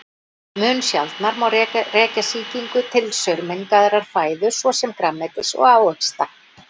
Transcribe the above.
Mun sjaldnar má rekja sýkingu til saurmengaðrar fæðu svo sem grænmetis og ávaxta.